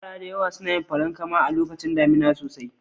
Yara da dama suna yin farankama lokacin damuna sosai.